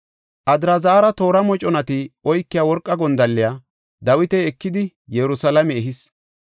Adraazara toora moconati oykiya worqa gondalliya Dawiti ekidi Yerusalaame ehis.